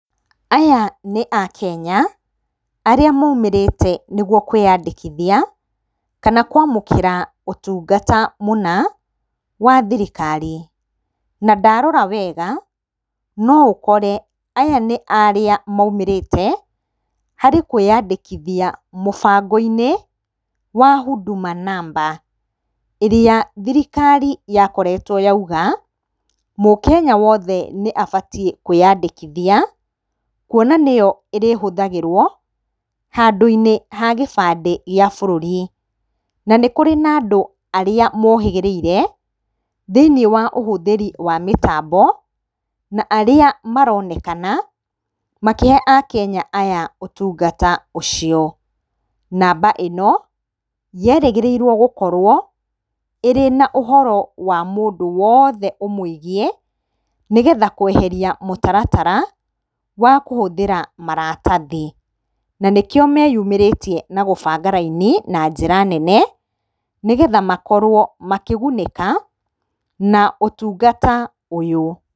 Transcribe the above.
Aya nĩ akenya arĩa maumĩrĩte nĩguo kwĩyandĩkithia kana kwamũkĩra ũtungata mũna wa thirikari. Na ndarora wega no ũkore aya nĩ arĩa maumĩrĩte harĩ kwĩyandĩkithia mũbango-inĩ wa Huduma number. ĩrĩa thirikari yakoretwo yauga mũkenya wothe nĩabatie kwĩyandĩkithia kuona nĩyo ĩrĩhũthagĩrwo handũ-inĩ ha gĩbandĩ gĩa bũrũri. Na nĩ kũrĩ na andũ arĩa mohĩgĩrĩire thĩinĩ wa ũhũthĩri wa mĩtambo na arĩa maronekana makĩhe akenya aya ũtungata ũcio. Namba ĩno yerĩgĩrĩirwo gũkorwo ĩrĩ na ũhoro wa mũndũ wothe ũmwĩgie nĩgetha kweheria mũtaratara wa kũhũthĩra maratathi. Na nĩkĩo meyũmĩrĩtie na gũbanga raini na njĩra nene nĩgetha makorwo makĩgunĩka na ũtungata ũyũ.